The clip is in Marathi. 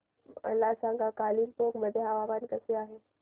मला सांगा कालिंपोंग मध्ये हवामान कसे आहे